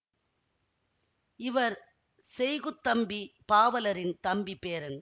இவர் செய்குத்தம்பிப் பாவலரின் தம்பி பேரன்